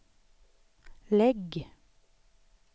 lägg